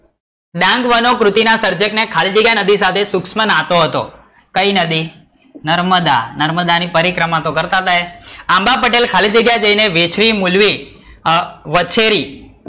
ડાંગવાનો કૃતિ ના સર્જક ને ખાલી જગ્યા નદી સાથે સૂક્ષ્મ નાતો હતો, કઈ નદી? નર્મદા, નર્મદા ની પરિક્રમા તો કરતા હતા. એ, આંબા પટેલ ખાલી જગ્યા જઈ ને વેચવી મૂલવી વછેરી,